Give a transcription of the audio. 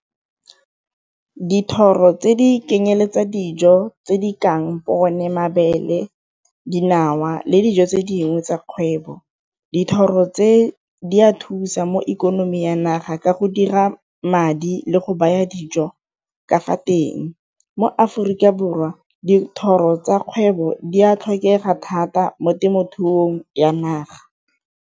Dithoro tse di dijo tse di kang one mabele, dinawa le dijo tse dingwe tsa kgwebo. Dithoro tse di a thusa mo ikonomi ya naga ka go dira madi le go baya dijo ka fa teng, mo Aforika Borwa dithoro tsa kgwebo di a tlhokega thata mo temothuong ya naga.